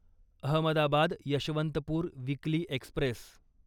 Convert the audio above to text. Ahmedabad Yesvantpur weekly Express